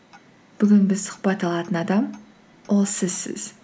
бүгін біз сұхбат алатын адам ол сізсіз